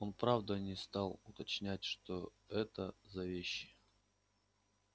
он правда не стал уточнять что это за вещи